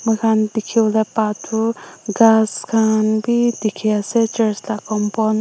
moikan dikivole ba tu ghas kan b dikhi ase church la compound --